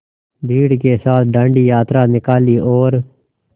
भीड़ के साथ डांडी यात्रा निकाली और